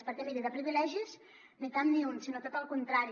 perquè miri de privilegis ni cap ni un sinó tot el contrari